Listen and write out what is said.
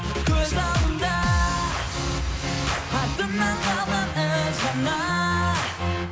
көз алдымда артымнан қалган із ғана